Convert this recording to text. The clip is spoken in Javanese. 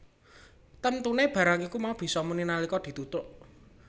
Temtune barang iku mau bisa muni nalika dithutuk